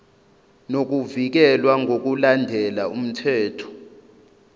nokuvikelwa ngokulandela umthetho